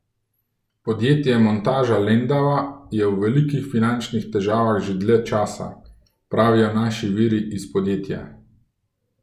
Podjetje montaža Lendava je v velikih finančnih težavah že dlje časa, pravijo naši viri iz podjetja.